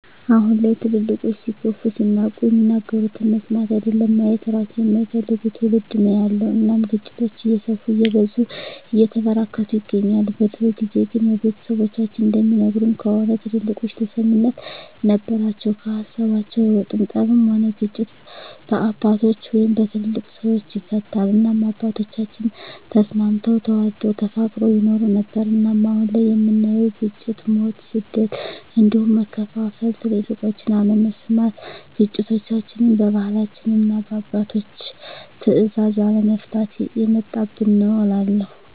አሁን ላይ ትልልቆች ሲገፉ ሲናቁ የሚናገሩትን መስማት አይደለም ማየት እራሱ የማይፈልግ ትዉልድ ነዉ ያለዉ እናም ግጭቶች እየሰፉ እየበዙ እየተበራከቱ ይገኛል። በድሮ ጊዜ ግን ያዉ ቤተሰቦቻችን እንደሚነግሩን ከሆነ ትልልቆች ተሰሚነት ነበራቸዉ ከሀሳባቸዉ አይወጡም ጠብም ሆነ ግጭት በአባቶች(በትልልቅ ሰወች) ይፈታል እናም አባቶቻችን ተስማምተዉ ተዋደዉ ተፋቅረዉ ይኖሩ ነበር። እናም አሁን ላይ የምናየዉ ግጭ፣ ሞት፣ ስደት እንዲሁም መከፋፋል ትልቆችን አለመስማት ግጭቶችችን በባህላችንና እና በአባቶች ትእዛዝ አለመፍታት የመጣብን ነዉ እላለሁ።